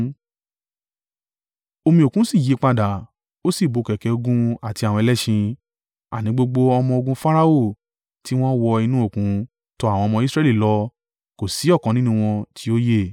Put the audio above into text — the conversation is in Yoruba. Omi òkun sì ya padà, ó sì bo kẹ̀kẹ́ ogun àti àwọn ẹlẹ́ṣin: àní, gbogbo ọmọ-ogun Farao tiwọn wọ inú òkun tọ àwọn ọmọ Israẹli lọ kò sí ọ̀kan nínú wọn tí ó yè.